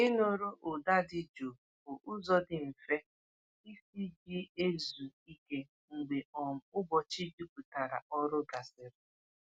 Ịnụrụ ụda dị jụụ bụ ụzọ dị mfe isi ji ezu ike mgbe um ụbọchị juputara ọrụ gasịrị.